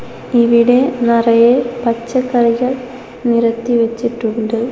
ഇവിടെ നിറയെ പച്ചക്കറികൾ നിരത്തി വച്ചിട്ടുണ്ട്.